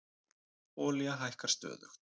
Olía hækkar stöðugt